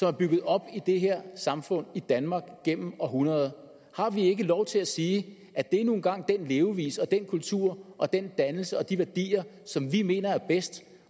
er bygget op i det her samfund i danmark gennem århundreder har vi ikke lov til at sige at det nu engang er den levevis og den kultur og den dannelse og de værdier som vi mener er bedst